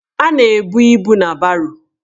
A na-ebu ibu na baro.